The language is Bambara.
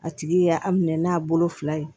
A tigi y'a minɛ n'a bolo fila ye